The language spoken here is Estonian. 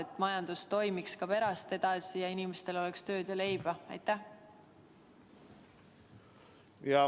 Aga majandus peab ju edasi toimima ja inimestel tööd ja leiba olema.